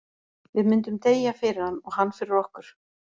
Við myndum deyja fyrir hann, og hann fyrir okkur.